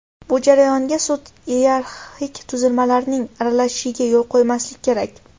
Bu jarayonga sud iyerarxik tuzilmalarining aralashishiga yo‘l qo‘ymaslik kerak.